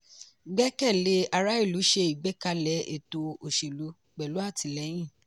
gbẹ̀kẹ́lé ará ìlú ṣe ìgbékalẹ̀ ètò òṣèlú pẹ̀lú àtìlẹ́yìn.